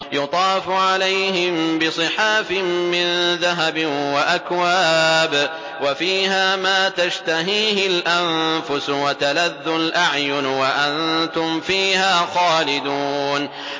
يُطَافُ عَلَيْهِم بِصِحَافٍ مِّن ذَهَبٍ وَأَكْوَابٍ ۖ وَفِيهَا مَا تَشْتَهِيهِ الْأَنفُسُ وَتَلَذُّ الْأَعْيُنُ ۖ وَأَنتُمْ فِيهَا خَالِدُونَ